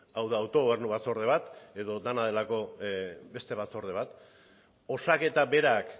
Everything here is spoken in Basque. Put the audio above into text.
hau da autogobernu batzorde bat edo dena delako beste batzorde bat osaketa berak